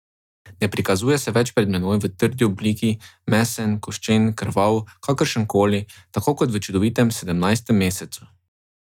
Ne prikazuje se več pred menoj v trdi obliki, mesen, koščen, krvav, kakršen koli, tako kot v čudovitem sedemnajstem mesecu.